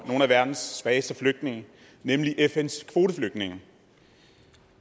nogle af verdens svageste flygtninge nemlig fns kvoteflygtninge